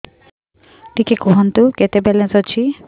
ଟିକେ କୁହନ୍ତୁ କେତେ ବାଲାନ୍ସ ଅଛି